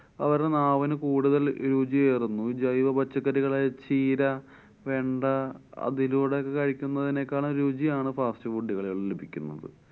അവരുടെ നാവിനു കൂടുതല്‍ രുചിയേറുന്നു. ഈ ജൈവ പച്ചക്കറികള് ചീര, വെണ്ട അതിലൂടെ ഒക്കെ കഴിക്കുന്നതിനേക്കാളും രുചിയാണ് fast food കളില്‍ നിന്ന് ലഭിക്കുന്നത്.